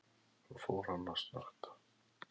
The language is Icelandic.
Svo fór hann að snökta.